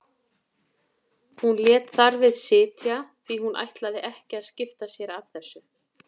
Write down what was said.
Hún lét þar við sitja því hún ætlaði ekki að skipta sér af þessu.